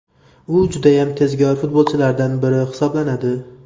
U judayam tezkor futbolchilaridan biri hisoblanadi.